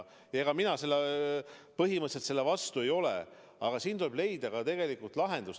Ega ma põhimõtteliselt selle vastu ei ole, aga siin tuleb leida lahendus.